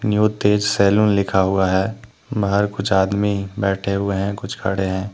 New Tej Saloon लिखा हुआ है बाहर कुछ आदमी बैठे हुए हैं कुछ खड़े हैं।